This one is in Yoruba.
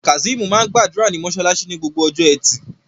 Kazeem máa ń gbàdúrà ní mosálásí ní Gbogbo ọjọ́ ẹtì